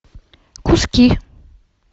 куски